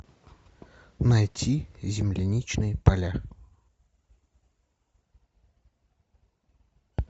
найти земляничные поля